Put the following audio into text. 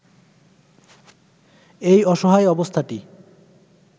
এই অসহায় অবস্থাটি